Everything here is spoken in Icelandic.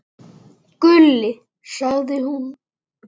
Gulli, sagði hún.